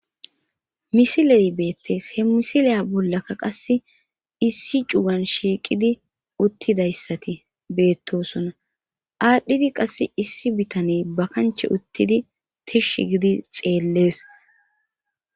misileyi beettees he misiliya bollakka qasse issi cugan shiiqidi uttidayssati beettosoona aadhdhidi qasse issi bitaney ba kanche uttidi tish gidi xeellees